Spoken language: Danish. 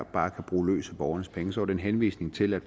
bare kan bruge løs af borgernes penge så var det en henvisning til at